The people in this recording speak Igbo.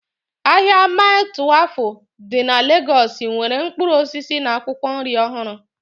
Ahịa Maii Twelfu dị na Legọs nwere mkpụrụ osisi na akwụkwọ nri ọhụrụ